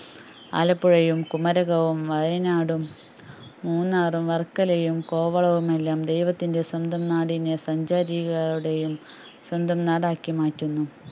ആലപ്പുഴയും കുമരകവും വയനാടും മൂന്നാറും വർക്കലയും കോവളവുമെല്ലാം ദൈവത്തിൻറെ സ്വന്തം നാടിനെ സഞ്ചാരികളുടെയും സ്വന്തം നാടാക്കിമാറ്റുന്നു